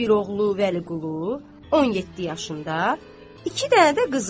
Qalıb bir oğlu Vəliqulu, 17 yaşında, iki dənə də qızı.